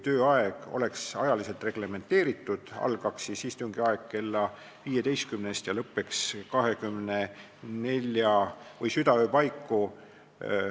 Tööaeg oleks ajaliselt reglementeeritud, istung algaks kell 15 ja lõppeks kella 24 või südaöö paiku.